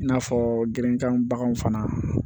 I n'a fɔ girinkan baganw fana